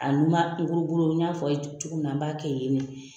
n y'a fɔ a' ye cogo min na n b'a kɛ yen ne fɛ